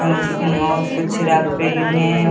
ए उसमे और कुछ रख रीवु हैं।